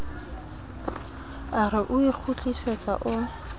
a re o ikgutlisetsa o